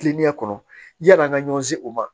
Kilennenya kɔnɔ yani an ka ɲɔn ye o ma